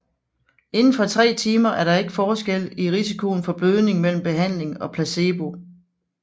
Indenfor 3 timer er der ikke forskel i risikoen for blødning mellem behandling og placebo